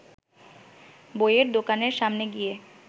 বইয়ের দোকানের সামনে গিয়ে